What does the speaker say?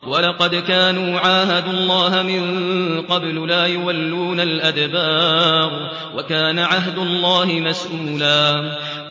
وَلَقَدْ كَانُوا عَاهَدُوا اللَّهَ مِن قَبْلُ لَا يُوَلُّونَ الْأَدْبَارَ ۚ وَكَانَ عَهْدُ اللَّهِ مَسْئُولًا